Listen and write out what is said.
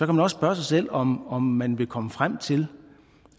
man også spørge sig selv om om man vil komme frem til